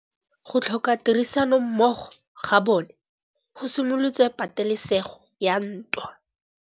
Go tlhoka tirsanommogo ga bone go simolotse patêlêsêgô ya ntwa.